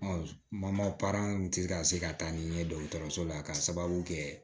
kun ti ka se ka taa ni n ye dɔgɔtɔrɔso la ka sababu kɛ